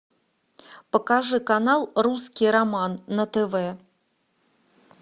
покажи канал русский роман на тв